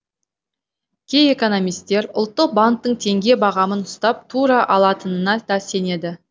кей экономистер ұлттық банктің теңге бағамын ұстап тұра алатынына да сенеді